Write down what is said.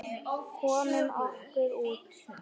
Komum okkur út.